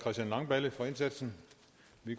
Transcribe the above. i